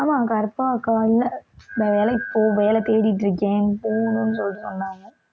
ஆமா கற்பகம் அக்கா இல்லை வேலைக்கு போகல வேலை தேடிட்டு இருக்கேன் போகணுன்னு சொல்லி சொன்னாங்க